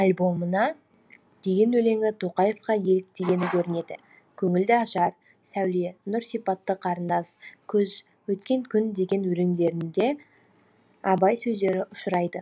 альбомына деген өлеңі тоқаевқа еліктегені көрінеді көңілді ашар сәуле нұр сипатты қарындас күз өткен күн деген өлеңдерінде абай сөздері ұшырайды